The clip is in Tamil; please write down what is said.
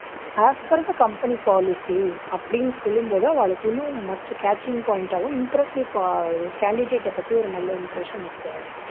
as per the company policy அப்டினு சொல்லும் போது அவாளுக்கு இன்னும் much catching point ஆவும் impressive poi யும் candidate ஐப் பத்தி ஒரு நல்ல impression இருக்கும்